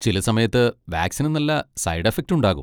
ചില സമയത്ത് വാക്സിന് നല്ല സൈഡ് എഫക്റ്റ് ഉണ്ടാകും .